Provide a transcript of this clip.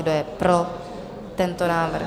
Kdo je pro tento návrh?